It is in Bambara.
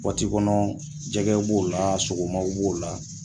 Waati kɔnɔ jɛgɛw b'o la sogomaw b'o la